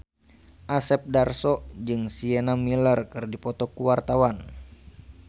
Asep Darso jeung Sienna Miller keur dipoto ku wartawan